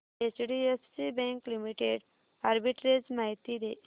HDFC bank limited arbitrage माहिती दे